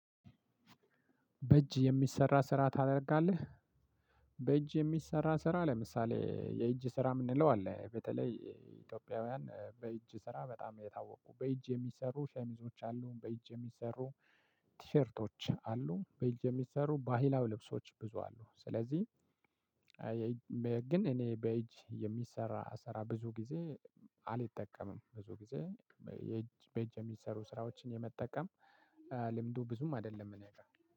በእጅ የሚሰራ ስራ ታደርጋለህ? በእጅ የሚሰራ ስራ ለምሳሌ የእጅ ስራ የምንለው አለ በተለይ ኢትዮጵያውያን በእጅ ስራ በጣም የታወቁ በእጅ የሚሰሩ ሸሚዞች አሉ፣ በኢጅ የሚሰሩ ቲሸርቶች አሉ በኢጅ የሚሰሩ ባሂላው ልብሶች ብዙ አሉ። ስለዚህ ግን እኔ በእጅ የሚሰራ ስራ ብዙ ጊዜ አልጠቀምም። ብዙ ጊዜ በእጅ የሚሰሩ ስራዎችን የመጠቀም ልምዱ ብዙም አይደለም እኔ ጋር።